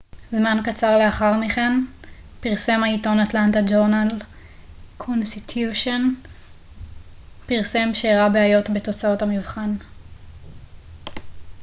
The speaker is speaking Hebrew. זמן קצר לאחר מכן פרסם העיתון atlanta journal-constitution פרסם שהראה בעיות בתוצאות המבחן